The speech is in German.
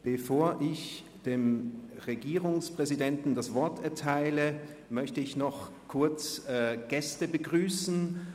Bevor ich dem Regierungspräsidenten das Wort erteile, möchte ich noch kurz Gäste begrüssen.